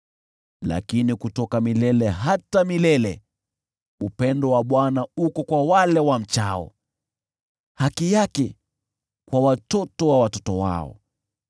Lakini kutoka milele hata milele upendo wa Bwana uko kwa wale wamchao, nayo haki yake kwa watoto wa watoto wao: